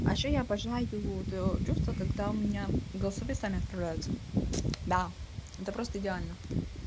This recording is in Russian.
а ещё я обожаю то чувство когда у меня голосовые сами отправляются да это просто идеально